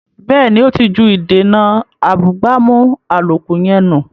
Bẹ́ẹ̀ni, ó ti ju “ìdènà abúgbàmù” àlòkù yẹn nù